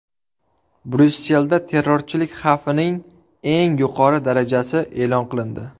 Bryusselda terrorchilik xavfining eng yuqori darajasi e’lon qilindi.